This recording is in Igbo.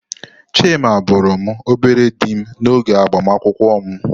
Chima bụụrụ m obere dim n'oge agbamakwụkwọ m.